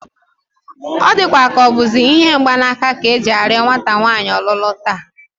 Ọ dịkwa ka ọ bụzi ihe mgbanaka ka e ji arịọ nwata nwaanyị ọlụlụ taa